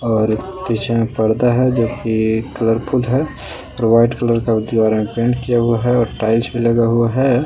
और पीछे में पर्दा है जो की कलरफुल है वाइट कलर का दीवार में पेंट किया हुआ है और टाइल्स लगा हुआ है।